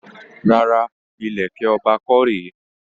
Rárá, ìlẹ̀kẹ̀ ọba kọ́ rèé.